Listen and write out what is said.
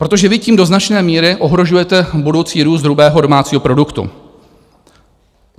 Protože vy tím do značné míry ohrožujete budoucí růst hrubého domácího produktu.